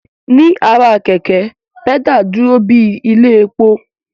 Ní ara kẹ̀kẹ́, pẹ́dà dúró bíi ilé epo